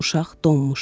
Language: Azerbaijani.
Uşaq donmuşdu.